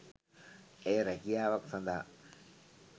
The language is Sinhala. ඇය රැකියාවක් සඳහා